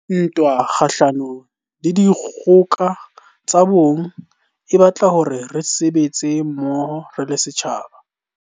Ntwa kgahlano le dikgoka tsa bong e batla hore re sebetse mmoho re le setjhaba.